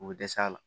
U bɛ dɛsɛ a la